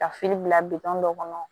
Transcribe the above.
Ka fini bila dɔ kɔnɔ